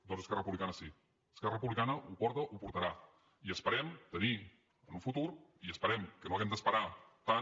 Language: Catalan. doncs esquerra republicana sí esquerra republicana ho porta ho portarà i esperem tenir en un futur i esperem que no hàgim d’esperar tant